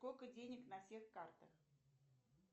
сколько денег на всех картах